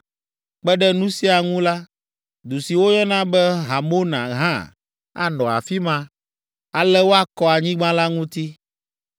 Kpe ɖe nu sia ŋu la, du si woyɔna be Hamona hã anɔ afi ma. Ale woakɔ anyigba la ŋuti.’